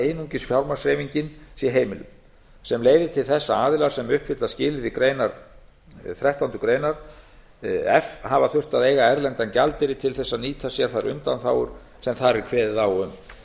einungis fjármagnshreyfingin sé heimiluð sem leiðir til þess að aðilar sem uppfylla skilyrði þrettándu grein f hafa þurft að eiga erlenda gjaldeyri til þess að nýta sér þær undanþágur sem þar er kveðið á um